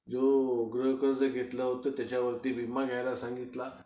हे गृहकर्ज घेतलं होतं त्याच्यावरती विमा घ्यायला सांगितला